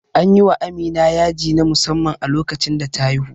Anyi wa Amina yaji na musamman a lokacin da ta haihu